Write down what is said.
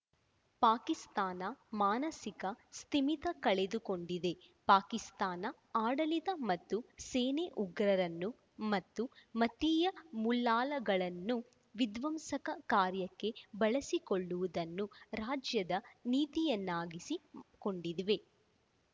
ಪಾಕಿಸ್ತಾನ ಮಾನಸಿಕ ಸ್ಥಿಮಿತ ಕಳೆದುಕೊಂಡಿದೆ ಪಾಕಿಸ್ತಾನ ಆಡಳಿತ ಮತ್ತು ಸೇನೆ ಉಗ್ರರನ್ನು ಮತ್ತು ಮತೀಯ ಮೂಲ್ಲಾಗಳನ್ನು ವಿಧ್ವಂಸಕ ಕಾರ್ಯಕ್ಕೆ ಬಳಸಿಕೊಳ್ಳುವುದನ್ನು ರಾಜ್ಯದ ನೀತಿಯನ್ನಾಗಿಸಿ ಕೊಂಡಿದ್ವೀ